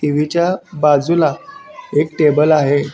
TV च्या बाजूला एक टेबल आहे.